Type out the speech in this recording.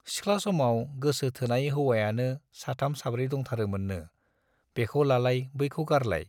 सिख्ला समाव गोसो थोनाय हौवायानो साथाम साब्रै दंथारोमोननो, बेखौ लालाय बैखौ गारलाय।